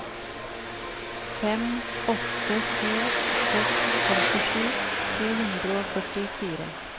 fem åtte to seks femtisju to hundre og førtifire